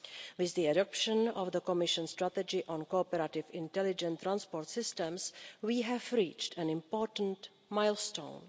With the adoption of the Commission strategy on cooperative intelligent transport systems, we have reached an important milestone.